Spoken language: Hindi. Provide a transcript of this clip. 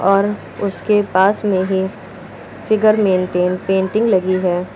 और उसके पास में ही फिगर मेंटेन पेंटिंग लगी है।